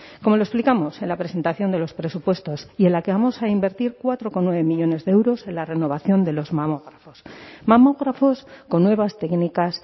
como lo explicamos en la presentación de los presupuestos y en la que vamos a invertir cuatro coma nueve millónes de euros en la renovación de los mamógrafos mamógrafos con nuevas técnicas